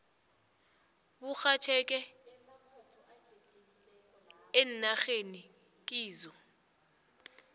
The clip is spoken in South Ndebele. burhatjheke eenarheni kizo